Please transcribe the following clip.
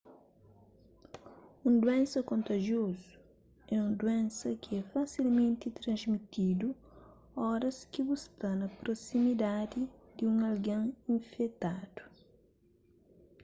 un duénsa kontajiozu é un duénsa ki é fasilmenti transmitidu óras ki bu sta na prosimidadi di un algen infetadu